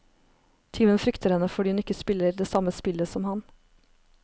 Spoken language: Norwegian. Tyven frykter henne fordi hun ikke spiller det samme spillet som han.